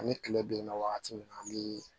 Ani kile binna wagati min na an bɛ